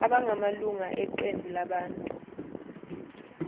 abangamalunga eqembu labantu